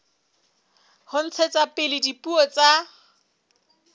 ho ntshetsa pele dipuo tsa